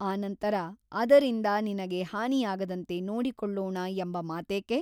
ಅನಂತರ ಅದರಿಂದ ನಿನಗೆ ಹಾನಿಯಾಗದಂತೆ ನೋಡಿಕೊಳ್ಳೋಣ ಎಂಬ ಮಾತೇಕೆ?